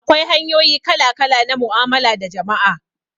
Akwai hanyoyi kala-kala na mu'amala da jama'a.